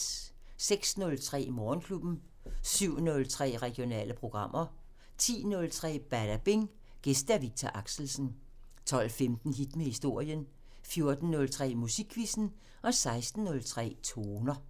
06:03: Morgenklubben 07:03: Regionale programmer 10:03: Badabing: Gæst Viktor Axelsen 12:15: Hit med historien 14:03: Musikquizzen 16:03: Toner